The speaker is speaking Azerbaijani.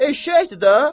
Eşşəkdir də.